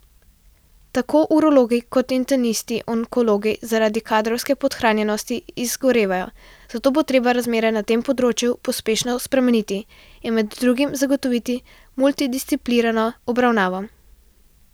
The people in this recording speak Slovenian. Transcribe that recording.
Tako urologi kot internisti onkologi zaradi kadrovske podhranjenosti izgorevajo, zato bo treba razmere na tem področju pospešeno spremeniti in med drugim zagotoviti multidisciplinarno obravnavo.